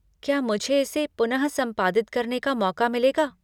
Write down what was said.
क्या मुझे इसे पुनः संपादित करने का मौक़ा मिलेगा?